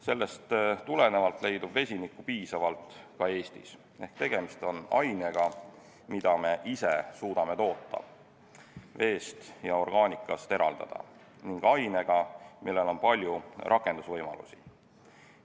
Sellest tulenevalt leidub vesinikku piisavalt ka Eestis ehk tegemist on ainega, mida me ise suudame toota, veest ja orgaanikast eraldada, ning ainega, millel on palju rakendusvõimalusi.